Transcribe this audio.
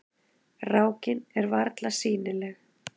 Rákin er varla sýnileg.